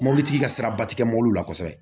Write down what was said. Mobilitigi ka siraba ti kɛ mobiliw la kosɛbɛ